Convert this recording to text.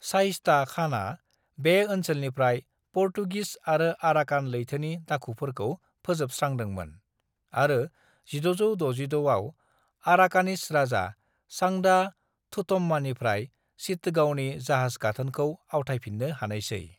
"शाइस्ता खाना बे ओनसोलनिफ्राय पुर्तगिस आरो आराकान लैथोनि दाखुफोरखौ फोजोबस्रांदोंमोन, आरो 1666 आव आराकानीज राजा, सांडा थुधम्मानिफ्राय चिटगांवनि जाहाज-गाथोनखौ आवथायफिन्नो हानायसै।"